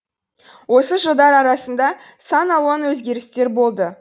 осы жылдар арасында сан алуан өзгерістер болды